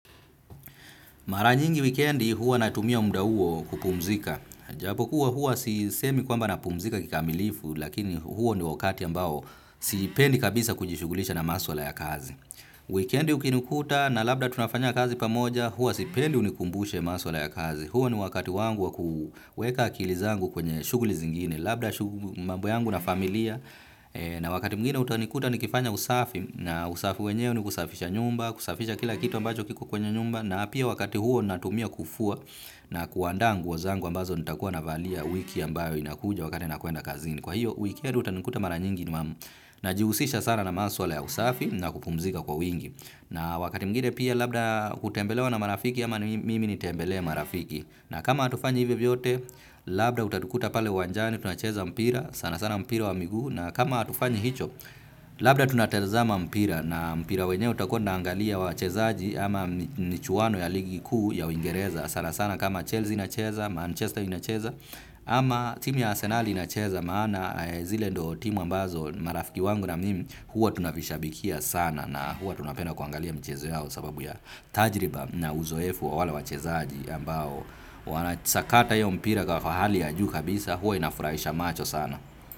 Mara nyingi wikendi huwa natumia muda huo kupumzika. Japokuwa huwa sisemi kwamba napumzika kikamilifu lakini huo ni wakati ambao sipendi kabisa kujishughulisha na maswala ya kazi. Wikendi ukinikuta na labda tunafanya kazi pamoja huwa sipendi unikumbushe maswala ya kazi. Huo ni wakati wangu wa kuweka akili zangu kwenye shughuli zingine. Labda mambo yangu na familia na wakati mwingine utanikuta nikifanya usafi na usafi wenyewe ni kusafisha nyumba, kusafisha kila kitu ambacho kiko kwenye nyumba na pia wakati huo natumia kufua na kuandaa nguo zangu ambazo nitakuwa navalia wiki ambayo inakuja wakati nakuenda kazini. Kwa hiyo wikendi utanikuta mara nyingi nime. Najihusisha sana na maswala ya usafi na kupumzika kwa wingi. Na wakati mwingine pia labda kutembelewa na marafiki ama mimi nitembelee marafiki. Na kama hatufanyi hivyo vyote, labda utatukuta pale uwanjani, tunacheza mpira sana sana mpira wa miguu. Na kama hatufanyi hicho, labda tunatazama mpira na mpira wenyewe tutakuwa tunaangalia wachezaji ama michuano ya ligi kuu ya uingereza sana sana kama Chelsea inacheza, Manchester inacheza ama team ya Arsenali inacheza maana zile ndo team ambazo marafiki wangu na mimu huwa tunavishabikia sana na huwa tunapenda kuangalia mchezo yao sababu ya tajriba na uzoefu wa wale wachezaji ambao wanasakata iyo mpira kwa hali ya juu kabisa huwa inafurahisha macho sana.